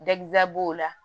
b'o la